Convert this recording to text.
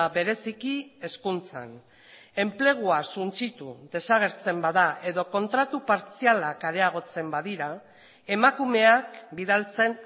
bereziki hezkuntzan enplegua suntsitu desagertzen bada edo kontratu partzialak areagotzen badira emakumeak bidaltzen